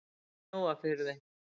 Mjóafirði